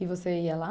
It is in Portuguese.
E você ia lá?